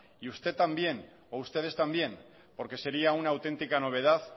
y usted también o ustedes también porque sería una auténtica novedad